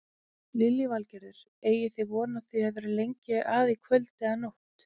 Lillý Valgerður: Eigið þið von á því að vera lengi að í kvöld og nótt?